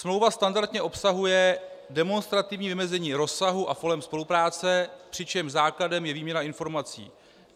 Smlouva standardně obsahuje demonstrativní vymezení rozsahu a forem spolupráce, přičemž základem je výměna informací.